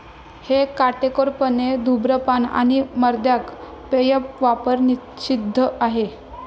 हे काटेकोरपणे धूम्रपान आणि मद्यार्क पेये वापर निषिद्ध आहे.